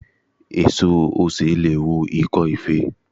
Èso osè leè wo ikó ife